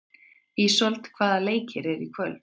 Ísold, hvaða leikir eru í kvöld?